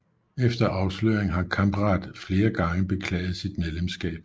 Efter afsløringen har Kamprad flere gange beklaget sit medlemskab